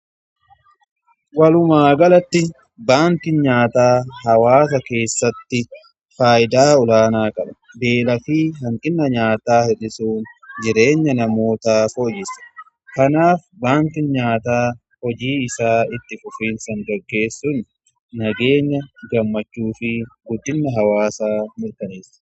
Walumaa galatti baankiin nyaataa hawaasa keessatti faayidaa olaanaa qaba beela fi hanqina nyaataa hirdhisuun jireenya namootaa foyyisa kanaaf baantin nyaataa hojii isaa itti fufiinsaan gaggeessun nageenya gammachuu fi guddina hawaasaa mirkaneessa.